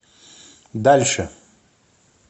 дальше